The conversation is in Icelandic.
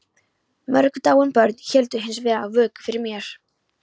Mörg dáin börn héldu hins vegar vöku fyrir mér.